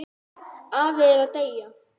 Afi er að deyja.